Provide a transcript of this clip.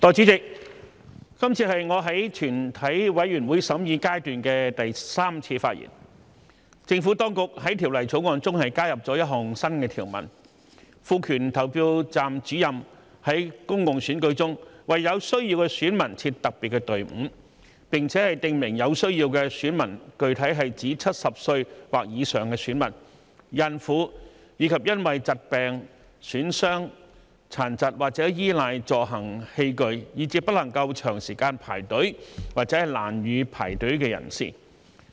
政府當局在《2021年完善選舉制度條例草案》中加入了一項新條文，賦權投票站主任在公共選舉中為有需要的選民設特別隊伍，並且訂明有需要的選民具體是指70歲或以上的選民、孕婦，以及因為疾病、損傷、殘疾或依賴助行器具，以致不能夠長時間排隊或難以排隊的人士。